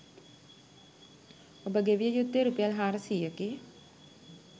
ඔබ ගෙවිය යුත්තේ රුපියල් හාරසියයකි.